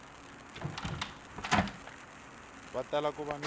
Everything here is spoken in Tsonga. va tala ku va ni